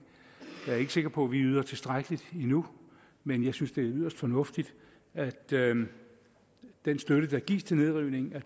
jeg er ikke sikker på at vi yder tilstrækkeligt endnu men jeg synes det er yderst fornuftigt at den støtte der gives til nedrivning